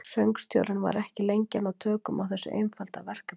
Söngstjórinn var ekki lengi að ná tökum á þessu einfalda verkefni.